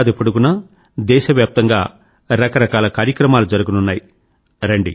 ఏడాది పొడుగునా దేశవ్యాప్తంగా రకరకాల కార్యక్రమాలు జరగనున్నాయి